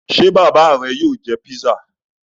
Ṣé bàbá rẹ yóò jẹ pizza?